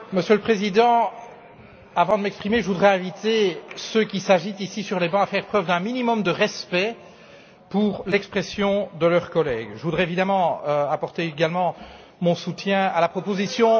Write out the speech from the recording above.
Monsieur le Président, avant de m'exprimer, je voudrais inviter ceux qui s'agitent, ici, sur les bancs, à faire preuve d'un minimum de respect pour l'expression de leurs collègues. Je voudrais évidemment apporter également mon soutien à la proposition.